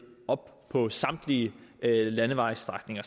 op på samtlige landevejsstrækninger